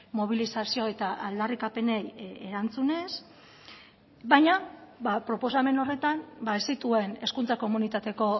mobilizazio eta aldarrikapenei erantzunez baina proposamen horretan ez zituen hezkuntza komunitateko